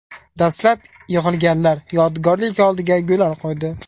Dastlab yig‘ilganlar yodgorlik oldiga gullar qo‘ydi.